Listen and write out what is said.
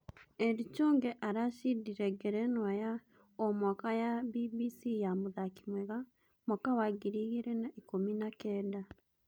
Eli Chonge aracindire ngerenwa ya o-mwaka ya Mbimbisi ya mũthaki mwega mwaka wa ngiri igĩrĩ na ikũmi na-kenda.